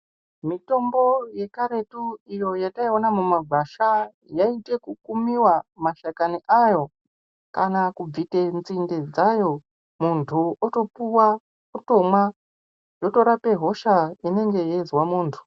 Mitombo ye karetu iyo yataiona muma gwasha yaite ku miwa ma shakani ayo kana kubvite nzinde dzayo muntu otopuwa otomwa yotorape hosha inenge yeizwa muntu.